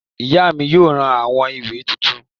Ìyá mi yóò ra àwo-ìwẹ̀ tuntun.